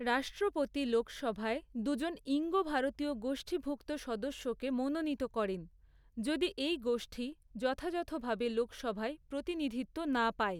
রাষ্ট্রপতি লোকসভায় দু'জন ঈঙ্গ ভারতীয় গোষ্ঠীভুক্ত সদস্যকে মনোনীত করেন, যদি এই গোষ্ঠী যথাযথভাবে লোকসভায় প্রতিনিধিত্ব না পায়।